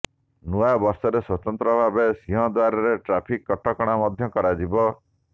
ନୂଆବର୍ଷରେ ସ୍ୱତନ୍ତ୍ର ଭାବେ ସିଂହଦ୍ୱାରରେ ଟ୍ରାଫିକ କଟକଣା ମଧ୍ୟ କରାଯିବ